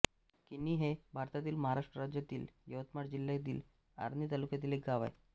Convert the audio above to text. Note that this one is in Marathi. किन्ही हे भारतातील महाराष्ट्र राज्यातील यवतमाळ जिल्ह्यातील आर्णी तालुक्यातील एक गाव आहे